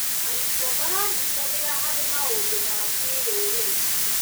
Arutwo maranyitanĩra harĩ maũndũ ma kĩrũrĩrĩ.